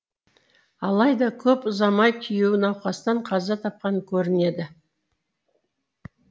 алайда көп ұзамай күйеуі науқастан қаза тапқан көрінеді